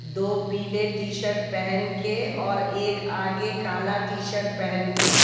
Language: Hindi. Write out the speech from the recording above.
दो पीले टी शर्ट पहन के और एक आगे काला टी शर्ट पहन के--